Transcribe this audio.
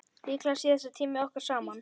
Líklega síðasti tími okkar saman.